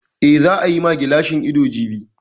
Eh, za a yi ma ta gilashin ido jibi